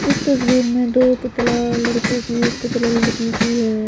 इस तस्वीर में दो पुतला लड़कों की एक पुतला लड़की की है।